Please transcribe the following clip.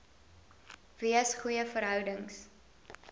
wees goeie verhoudings